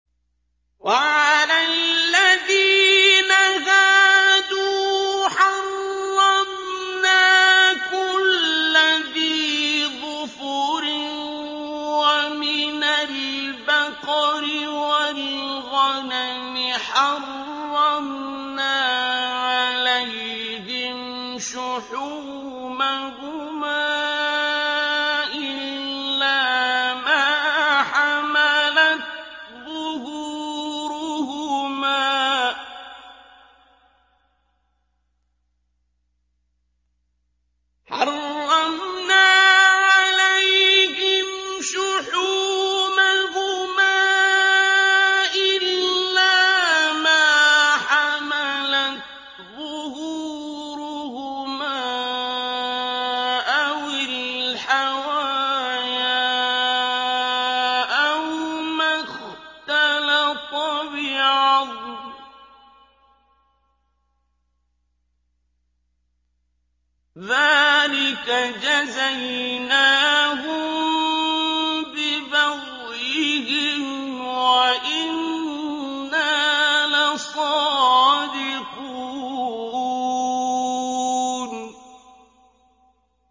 وَعَلَى الَّذِينَ هَادُوا حَرَّمْنَا كُلَّ ذِي ظُفُرٍ ۖ وَمِنَ الْبَقَرِ وَالْغَنَمِ حَرَّمْنَا عَلَيْهِمْ شُحُومَهُمَا إِلَّا مَا حَمَلَتْ ظُهُورُهُمَا أَوِ الْحَوَايَا أَوْ مَا اخْتَلَطَ بِعَظْمٍ ۚ ذَٰلِكَ جَزَيْنَاهُم بِبَغْيِهِمْ ۖ وَإِنَّا لَصَادِقُونَ